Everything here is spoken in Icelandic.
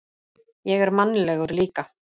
Ég er mannlegur líka.